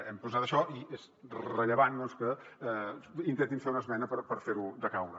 hem posat això i és rellevant doncs que intentin fer una esmena per fer ho decaure